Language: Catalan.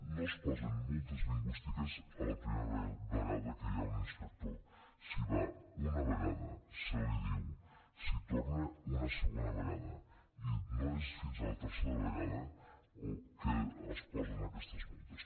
no es posen multes lingüístiques la primera vegada que hi ha un inspector s’hi va una vegada se li diu s’hi torna una segona vegada i no és fins a la tercera vegada que es posen aquestes multes